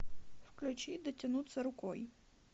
включи дотянуться рукой